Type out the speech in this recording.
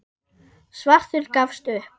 Svartur gafst upp.